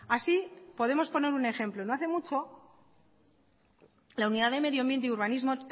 así podemos poner un ejemplo no hace mucho la unidad de medio ambiente y urbanismo